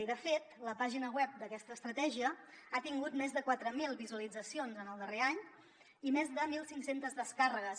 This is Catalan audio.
i de fet la pàgina web d’aquesta estratègia ha tingut més de quatre mil visualitzacions en el darrer any i més de mil cinc cents descàrregues